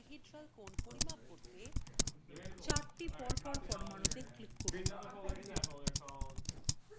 dihedral angles পরিমাপ করতে 4 to পরপর পরমাণুতে click করুন